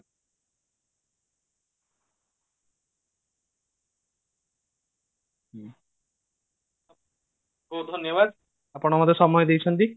ଧନ୍ୟବାଦ ଆପଣ ମତେ ସମୟ ଦେଇଛନ୍ତି